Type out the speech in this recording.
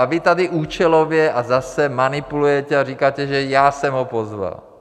A vy tady účelově a zase manipulujete a říkáte, že já jsem ho pozval.